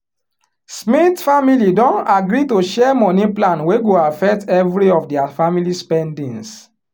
smith family don agree to share money plan wey go affect every of dia family spendings